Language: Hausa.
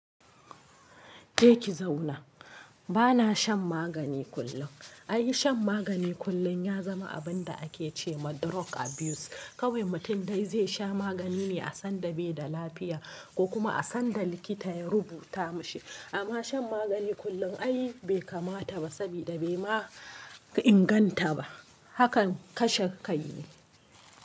Je ki zauna. Bana shan magani kullum. Ai shan magani kullum ya zama abinda ake ce ma drug abuse. Kawai mutum dai zai sha magani ne a sanda bai da lafiya ko kuma a sanda likita ya rubuta mashi. Amma shan magani kullum ai bai kamata ba sabida bai ma inganta ba. Hakan kashe kai ne.